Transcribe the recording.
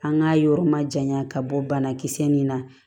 An k'a yɔrɔ ma janya ka bɔ banakisɛ nin na